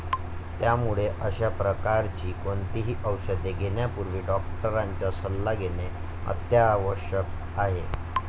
त्यामुळे अश्या प्रकारची कोणतीही औषधे घेण्यापूर्वी डॉक्टरांचा सल्ला घेणे अत्यावश्यक आहे.